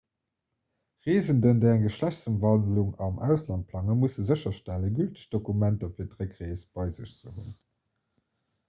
reesenden déi eng geschlechtsëmwandlung am ausland plangen musse sécherstellen gülteg dokumenter fir d'réckrees bei sech hunn